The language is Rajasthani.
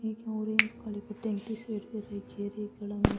एक ऑरेंज कलर की टेंटी सी दिखे री --